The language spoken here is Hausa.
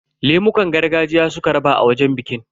Lemukan gargajiya suka raba a wajen bikin.